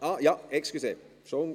Ach ja, entschuldigen Sie.